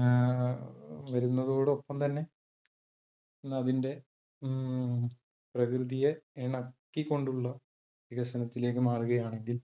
ഏർ വരുന്നതോടൊപ്പം തന്നെ അതിന്റെ ഉം പ്രകൃതിയെ ഇണക്കി കൊണ്ടുള്ള വികസനത്തിലേക്ക് മാറുകയാണെങ്കിൽ